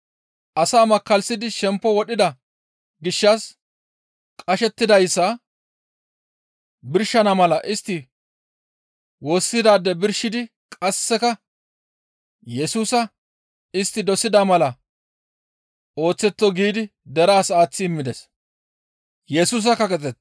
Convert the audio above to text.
Asaa makkallisidi shempo wodhida gishshas qashettidayssa birshana mala istti woossidaade birshidi qasseka Yesusa istti dosida mala ooththetto giidi deraas aaththi immides.